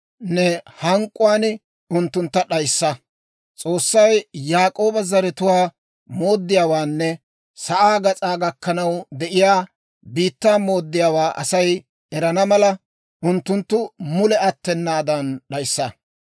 ne hank'k'uwaan unttuntta d'ayissa. S'oossay Yaak'ooba zaratuwaa mooddiyaawaanne sa'aa gas'aa gakkanaw de'iyaa biittaa mooddiyaawaa Asay erana mala, unttuntta mule attenaadan d'ayissa.